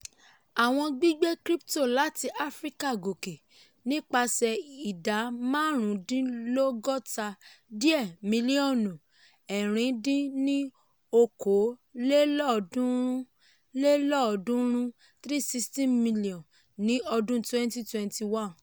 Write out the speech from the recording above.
àwọn gbígbé crypto láti áfíríkà gòkè nípasẹ̀ ìdá márùúndínlọ́gọ́ta dé mílíọ̀nù ẹ̀rin dín ní okòó lélọ́ọ̀dúnrún lélọ́ọ̀dúnrún ( three hundred sixteen million ) ní ọdún twenty twenty one.